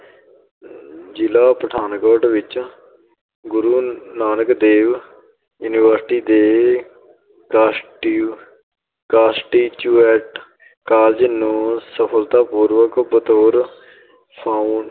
ਜ਼ਿਲ੍ਹਾ ਪਠਾਨਕੋਟ ਵਿੱਚ ਗੁਰੂ ਨਾਨਕ ਦੇਵ university ਦੇ college ਨੂੰ ਸਫਲਤਾਪੂਰਵਕ ਬਤੌਰ ਫ਼ਾਊਂ~